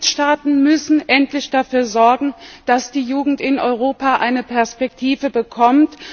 Die Mitgliedstaaten müssen endlich dafür sorgen, dass die Jugend in Europa eine Perspektive bekommt.